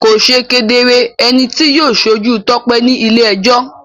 Kò ṣe kedere ẹni tí yóò ṣojú Tope ní ilé-ẹjọ́.